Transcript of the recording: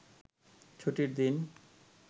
ছুটির দিন